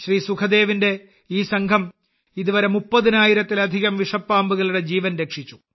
സുഖ്ദേവിന്റെ ഈ സംഘം ഇതുവരെ 30000 ത്തിലധികം വിഷപ്പാമ്പുകളുടെ ജീവൻ രക്ഷിച്ചു